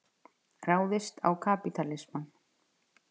Ráðist á kapítalismann.